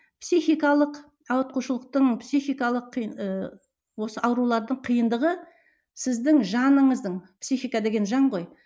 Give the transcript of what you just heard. психикалық ауытқушылықтың психикалық ы осы аурулардың қиындығы сіздің жаныңыздың психика деген жан ғой